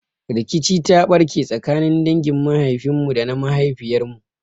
Rikici ta ɓarke tsakanin dangin mahaifin mu da na mahaifiyar mu.